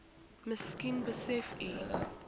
miskien besef u